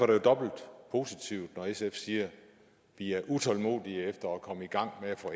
det jo dobbelt positivt når sf siger vi er utålmodige efter at komme i gang med at få